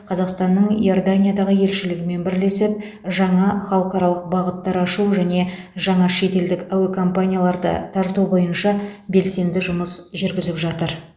қазақстанның иорданиядағы елшілігімен бірлесіп жаңа халықаралық бағыттар ашу және жаңа шетелдік әуе компанияларды тарту бойынша белсенді жұмыс жүргізіп жатыр